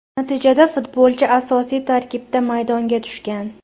Natijada futbolchi asosiy tarkibda maydonga tushgan.